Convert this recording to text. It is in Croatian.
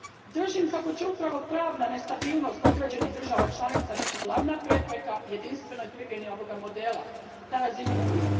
Držim kako će upravo pravna nestabilnost određenih država članica biti glavna prepreka jedinstvenoj primjeni ovoga modela na razini Unije.